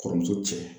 Kɔrɔmuso cɛ